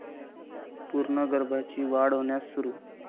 पूर्ण गर्भाची वाढ होण्यास सुरू